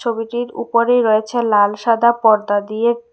ছবিটির উপরেই রয়েছে লাল সাদা পর্দা দিয়ে--